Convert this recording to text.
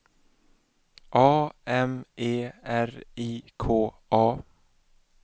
A M E R I K A